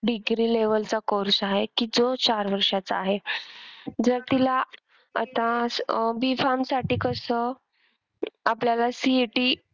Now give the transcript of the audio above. Degree level चा course आहे कि जो चार वर्षाचा आहे, जर तिला आता अह B farm साठी कस आपल्याला CET